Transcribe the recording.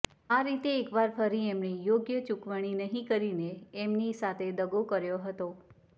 આ રીતે એકવાર ફરી એમણે યોગ્ય ચુકવણી નહિ કરીને એમની સાથે દગો કર્યો હતો